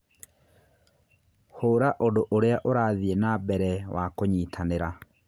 hũra ũndũ ũrĩa ũrathiĩ na mbere wa kũnyitanĩra